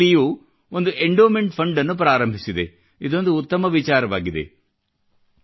IIT ದಿಲ್ಲಿಯು ಒಂದು endowment ಫಂಡನ್ನು ಪ್ರಾರಂಭಿಸಿದೆ ಇದೊಂದು ಉತ್ತಮ ವಿಚಾರವಾಗಿದೆ